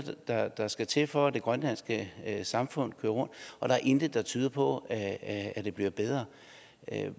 der der skal til for at det grønlandske samfund kører rundt og der er intet der tyder på at at det bliver bedre